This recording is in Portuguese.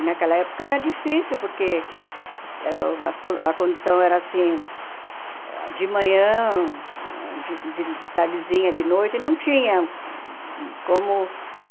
E naquela época era difícil, porque uh as a condução era assim, de manhã, de de de tardezinha, de noite, não tinha como,